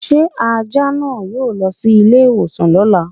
Ṣé Ajá náà yóò lọ sí ilé ìwòsàn lóla?